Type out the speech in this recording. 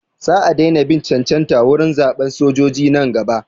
Sa a daina bin cancanta wurin zaɓan sojoji nan gaba.